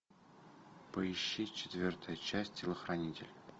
поищи четвертая часть телохранитель